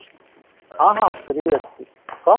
ହଁ ହଁ, free ଅଛି କହ